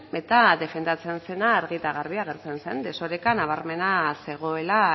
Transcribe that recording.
eta defendatzen zena argi eta garbi agertzen zen desoreka nabarmena zegoela